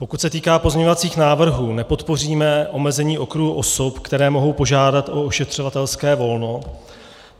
Pokud se týká pozměňovacích návrhů, nepodpoříme omezení okruhu osob, které mohou požádat o ošetřovatelské volno.